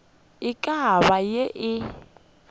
e ka bago ye e